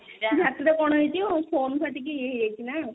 ଆଖି ତ କଣ ହେଇଯିବ phone ଫାଟିକି ଇଏ ହେଇଯାଇଛି ନା